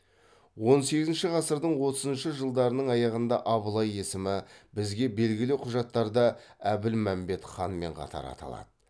он сегізінші ғасырдың отызыншы жылдарының аяғында абылай есімі бізге белгілі құжаттарда әбілмәмбет ханмен қатар аталады